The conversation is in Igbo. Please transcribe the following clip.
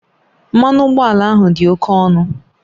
Mmanụ ụgbọala ahụ dị oke ọnụ